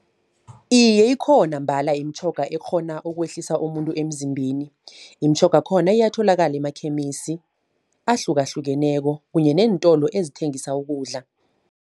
Iye ikhona mbala imitjhoga ekghona ukwehlisa umuntu emzimbeni. Imitjhoga yakhona iyatholakala emakhemisi, ahlukahlukeneko kunye neentolo ezithengisa ukudla.